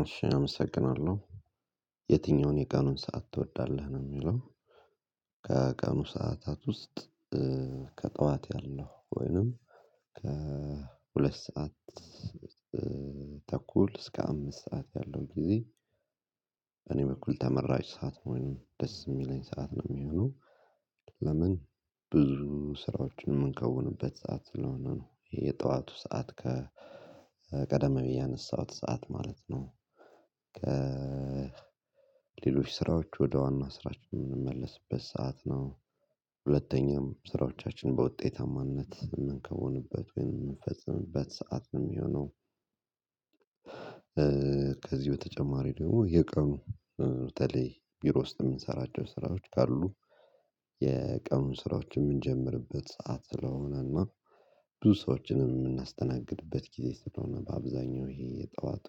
እሺ አመሰግናለሁ የትኛውን የቀኑን ሰዓት ትወዳለህ ነው እሚለው? ከቀኑ ሰዓታት ውስጥ ከጠዋት ያለው ወይንም ከሁለት ሰዓት ተኩል እስከ አምስት ሰዓት ያለው ጊዜ። እኔ በኩል ተመራጭ ሰዓት ነው ወይንም ደስ እሚለኝ ሰዓት ነው እሚሆነው። ለምን ብዙ ስራዎችን እምንከውንበት ሰዓት ስለሆነ ነው የጠዋቱ ሰዓት ከ ቀደም ብዬ ያነሳሁት ሰዓት ማለት ነው። ሌሎች ስራዎች ወደ ዋና ስራችን እምንመለስበት ሰዓት ነው። ሁለተኛም ስራዎቻችን በውጤታማነት የምንከውንበት ወይም እምንፈጽምበት ሰዓት ነው እሚሆነው። ከዚህ በተጨማሪ ደግሞ የቀኑ በተለይ ቢሮ ውስጥ የምንሰራቸው ስራዎች ካሉ የቀኑን ስራዎች የምንጀምርበት ሰዓት ስለሆነና ብዙ ሰዎችንም የምናስተናግድበት ጊዜ ስለሆነ በአብዛኛው ይሄ የጠዋቱ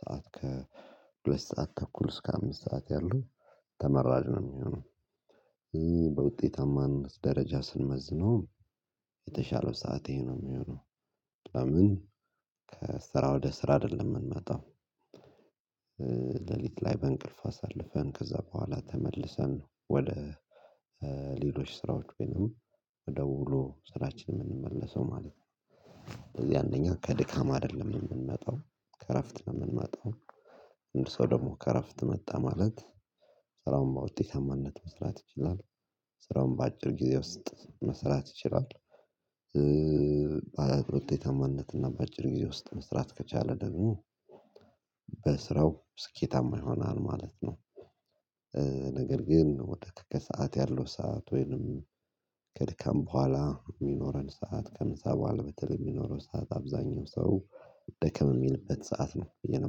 ሰዓት ከ ሁለት ሰዓት ተኩል እስከ አምስት ሰዓት ያሉ ተመራጭ ነው እሚሆነው። በውጤታማነት ደረጃ ስንመዝነው የተሻለው ሰዓት ይሄ ነው እሚሆነው። ለምን ከስራ ወደ ስራ አይደለም የምንመጣው። ሌሊት ላይ በእንቅልፍ አሳልፈን ከዛ በኋላ ተመልሰን ወደ ሌሎች ስራዎች ወይንም ወደ ውሎ ስራችን የምንመለሰው ማለት ነው። ስለዚህ አንደኛ ከድካም አይደለም የምንመጣው ከእረፍት ነው እምንመጣው። አንድ ሰው ደግሞ ከእረፍት መጣ ማለት ስራውን በውጤታማነት መስራት ይችላል ስራውን በአጭር ጊዜ ውስጥ መስራት ይችላል። በቅርብ ዊጤታማነት እና በአጭር ጊዜ ውስጥ መስራት ከቻለ ደግሞ በስራው ስኬታማ ይሆናል ማለት ነው። ነገር ግን ወደ ከሰአት ያለው ሰዓት ወይንም ከድካም በኋላ እሚኖረን ሰዓት ከምሳ በኋላ በተለይ እሚኖረው ሰዓት አብዛኛው ሰው ደከም እሚልበት ሰዓት ነው ብዬ ነው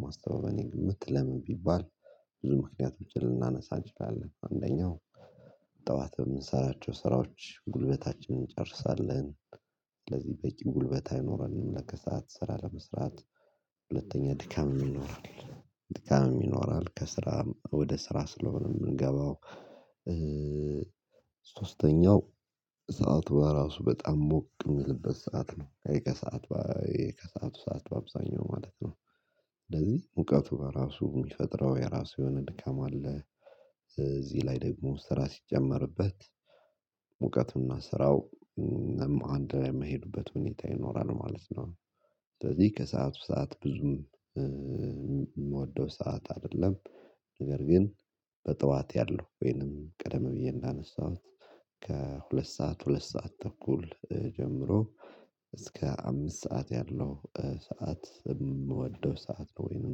እማስበው በእኔ ግምት ለምን ቢባል። ብዙ ምክንያቶችን ልናነሳ እንችላለን አንደኛው ጠዋት በምንሰራቸው ስራዎች ጉልበታችንን እንጨርሳለን። ስለዚህ በቂ ጉልበት አይኖረንም ለከሰአት ስራ ለመስራት። ሁለተኛ ድካም ይኖራል። ድካም ይኖራል ከስራ ወደ ስራ ስለሆነ የምንገባው። ሶስተኛው ሰዓቱ በራሱ በጣም ሞቅ እሚልበት ሰዓት ነው። ከሰአቱ ከሰአቱ ሰዓት በአብዛኛው ማለት ነው እንደዚህ ሙቀቱ በራሱ እሚፈጥረው የራሱ የሆነ ድካም አለ። እዚህ ላይ ደግሞ ስራ ሲጨመርበት ሙቀቱና ስራው አንድ ላይ እማይሄዱበት ሁኔታ ይኖራል ማለት ነው። ስለዚህ ከሰአቱ ሰዓት ብዙም የምወደው ሰዓት አይደለም። ነገር ግን በጠዋት ያለው ወይንም ቀደም ብዬ እንዳነሳሁት ከሁለት ሰዓት ሁለት ሰዓት ተኩል ጀምሮ እስከ አምስት ሰዓት ያለው ሰዓት እምወደው ሰዓት ነው ወይንም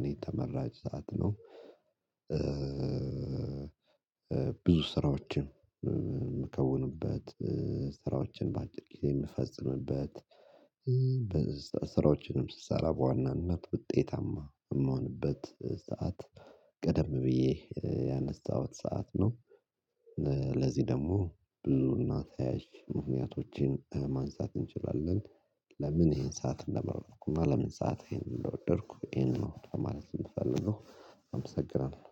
እኔ ተመራጭ ሰዓት ነው። ብዙ ስራዎችን እምከውኑበት ስራዎችን በአጭር ጊዜ የምፈጽምበት ስራዎችንም ስሰራ በዋናነት ውጤታማ እምሆንበት ሰዓት ቀደም ብዬ ያነሳሁት ሰዓት ነው። ለዚህ ደግሞ ብዙ እና ተያያዥ ምክንያቶችን ለማንሳት እንችላለን። ለምን ይሄን ሰዓት እንደመረጥኩ እና ለምን ሰዓት ይሄን እንደወደድኩ ይሄን ነው ለማለት እምፈልገው አመሰግናለሁ